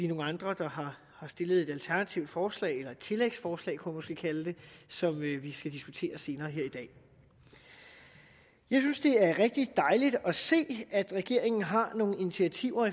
nogle andre der har stillet et alternativt forslag eller et tillægsforslag kunne man måske kalde det som vi skal diskutere senere her i dag jeg synes det er rigtig dejligt at se at regeringen har nogle initiativer